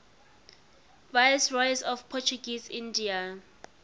viceroys of portuguese india